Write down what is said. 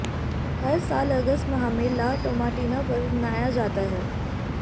हर साल अगस्त माह में ला टोमाटीना पर्व मनाया जाता है